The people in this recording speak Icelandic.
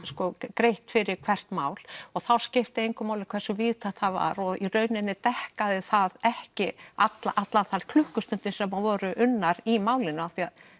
greitt fyrir hvert mál og þá skipti engu máli hversu víðtækt það var og í rauninni dekkaði það ekki allar þær klukkustundir sem voru unnar í málinu því að